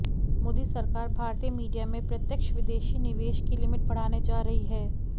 मोदी सरकार भारतीय मीडिया में प्रत्यक्ष विदेशी निवेश की लिमिट बढ़ाने जा रही है